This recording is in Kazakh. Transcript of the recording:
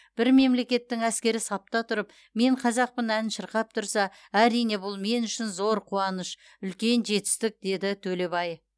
бір мемлекеттің әскері сапта тұрып мен қазақпын әнін шырқап тұрса әрине бұл мен үшін зор қуаныш үлкен жетістік деді ж төлебай